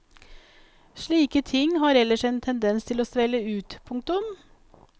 Slike ting har ellers en tendens til å svelle ut. punktum